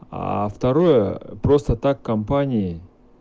а второе просто так компании